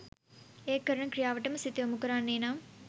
ඒ කරන ක්‍රියාවටම සිත යොමු කරන්නේ නම්